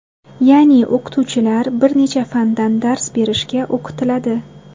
Ya’ni o‘qituvchilar bir necha fandan dars berishga o‘qitiladi.